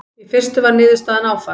Í fyrstu var niðurstaðan áfall.